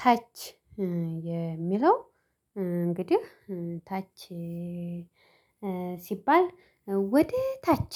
ታች የሚለው እንግዲህ ታች ሲባል ወደ ታች